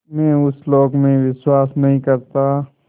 मैं उस लोक में विश्वास नहीं करता